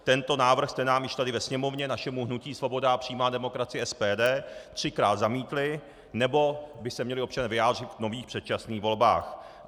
Tento návrh jste nám již tady ve Sněmovně, našemu hnutí Svoboda a přímá demokracie - SPD, třikrát zamítli, nebo by se měli občané vyjádřit v nových předčasných volbách.